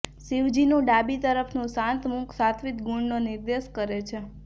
શિવજીનું ડાબી તરફનું શાંત મુખ સાત્વિક ગુણનો નિર્દેશ કરે છે